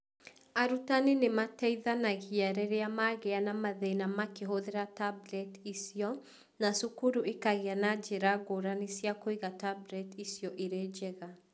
Arutani nĩ maateithanagia rĩrĩa magĩa na mathĩna makĩhũthĩra tablet icio, na cukuru ikagĩa na njĩra ngũrani cia kũiga tablet icio irĩ njega.